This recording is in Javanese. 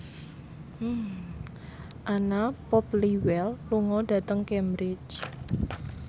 Anna Popplewell lunga dhateng Cambridge